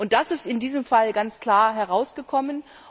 Das ist in diesem Fall ganz klar herausgekommen.